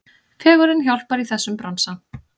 Fegurðin hjálpar í þessum bransa.